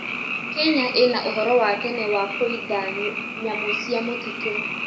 Kenya ĩna ũhoro wa tene wa kũida nyamũ cia mũtitũ.